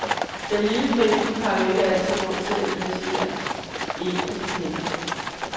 Den lille forening har jo ikke altid råd til at engagere en af de kendte.